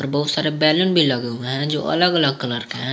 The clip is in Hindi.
बहुत सारे बैलून भी लगा हुआ है जो अलग अलग कलर है।